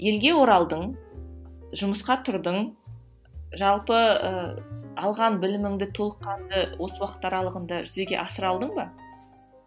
елге оралдың жұмысқа тұрдың жалпы ы алған біліміңді толыққанды осы уақыт аралығында жүзеге асыра алдың ба